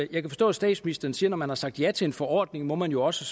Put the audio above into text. kan forstå at statsministeren siger at når man har sagt ja til en forordning må man jo også